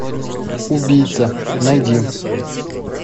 убийца найди